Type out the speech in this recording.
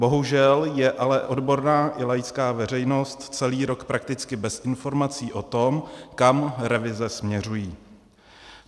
Bohužel je ale odborná i laická veřejnost celý rok prakticky bez informací o tom, kam revize směřují.